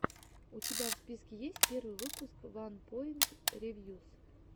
у тебя в списке есть первый выпуск ванпоинт ревьюс